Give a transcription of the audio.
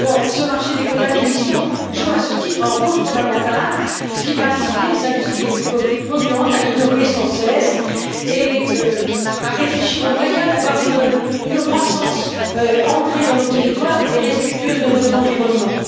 Ce marché des quotas d'émission joue à ce titre un rôle fondamental, puisqu'il va inciter les industries les plus polluantes à innover sans cesse et à réfléchir aux moyens d'avoir une croissance ancrée dans nos territoires et respectueuse de notre environnement.